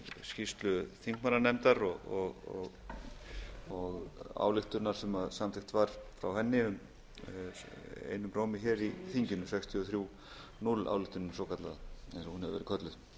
skýrslu þingmannanefndar og ályktunar sem samþykkt var frá henni einum rómi hér í þinginu sextíu og þrjú núll álitinu svokallaða sem hún hefur